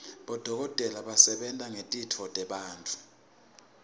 bodokotela basebenta ngetitfo tebantfu